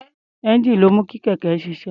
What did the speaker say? Ẹ́ńjíìnì ló ń mú kí kẹ̀kẹ́ ṣiṣẹ́.